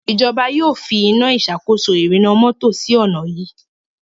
ìjọba yóò fí Iná ìṣàkóso ìrìnnà mọ́tò sí onà yí.